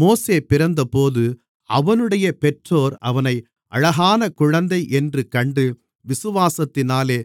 மோசே பிறந்தபோது அவனுடைய பெற்றோர் அவனை அழகான குழந்தையென்று கண்டு விசுவாசத்தினாலே